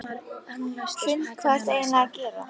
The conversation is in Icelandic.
Hrund: Hvað ertu eiginlega að gera?